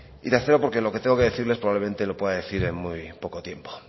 y tercero porque lo que tengo que decirle es probablemente lo pueda decir en muy poco tiempo